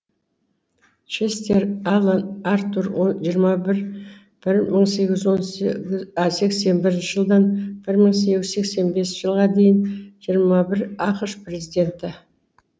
честер алан артур жиырма бір мың сегіз жүз сексен бірінші жылдан бір мың сегіз жүз сексен бесінші жылға дейін жиырма бір ақш президенті